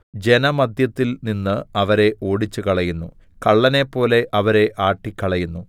ജനമദ്ധ്യത്തിൽ നിന്ന് അവരെ ഓടിച്ചുകളയുന്നു കള്ളനെപ്പോലെ അവരെ ആട്ടിക്കളയുന്നു